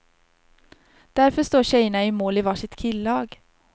Därför står tjejerna i mål i var sitt killag.